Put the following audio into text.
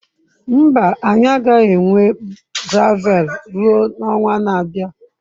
Mba, anyị agaghị enwe gravel ruo ọnwa na-abịa.